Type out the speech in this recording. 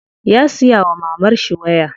Ya siya wa mamarshi waya.